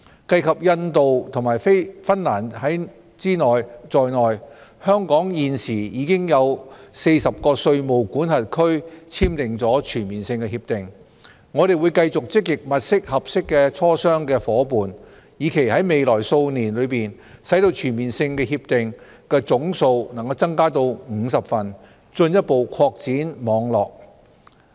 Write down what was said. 計及印度及芬蘭在內，香港現時已經與40個稅務管轄區簽訂全面性協定，我們會繼續積極物色合適的磋商夥伴，以期在未來數年內使全面性協定的總數能增加到50份，進一步擴展網絡。